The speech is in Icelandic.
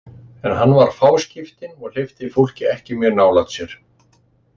En hann var fáskiptinn og hleypti fólki ekki mjög nálægt sér.